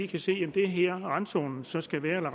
kan se at det er her randzonerne så skal være jeg